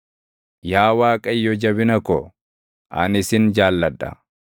Yaa Waaqayyo jabina ko, ani sin jaalladha.